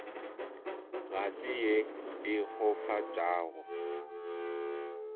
ga se ye e kgofatšago